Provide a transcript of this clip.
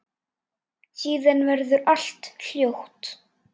Síðan verður allt hljótt.